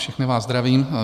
Všechny vás zdravím.